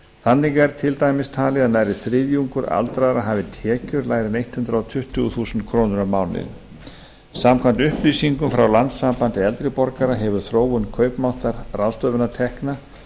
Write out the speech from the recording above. þannig er til dæmis talið að nærri þriðjungur aldraðra hafi tekjur lægri en hundrað tuttugu þúsund krónur á mánuði samkvæmt upplýsingum frá landssambandi eldri borgara hefur þróun kaupmáttar ráðstöfunartekna